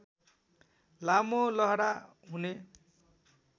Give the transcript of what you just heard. लामो लहरा हुने